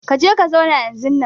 Ka je ka zauna yanzunnan!